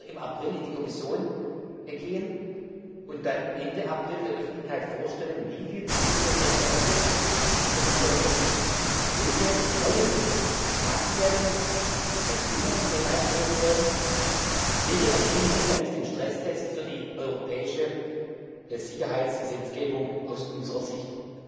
Ich werde noch im April in die Kommission gehen und dann Ende April der Öffentlichkeit vorstellen, wie wir die Nuclear Safety Directive reformieren wollen, welche neuen materiellen Bedingungen wir hineinschreiben wollen, welche Erkenntnisse aus dem Stresstest für die europäische Sicherheitsgesetzgebung aus unserer Sicht